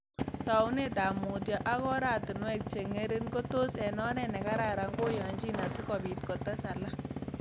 Taunet ap muutyo ak oratunwek cheng'ering' ko tos eg oret nekararan koyianchi asigobit kotes alak.